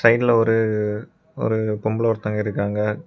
சைடுல ஒரு ஒரு பொம்பல ஒருத்தங்க இருக்காங்க.